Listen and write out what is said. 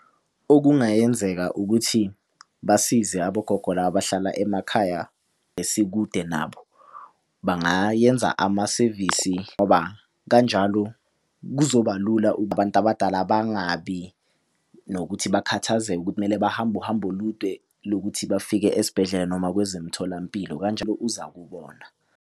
Okungayenzeka ukuthi basize abogogo laba abahlala emakhaya esikude nabo. Bangayenza amasevisi ngoba kanjalo kuzoba lula abantu abadala bangabi nokuthi bakhathazekile ukuthi kumele bahambe uhambo olude lokuthi bafike esibhedlela noma kwezemtholampilo kanjalo uzakubona.